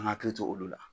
An ka hakili to olu la